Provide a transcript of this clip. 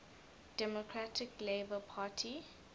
democratic labour party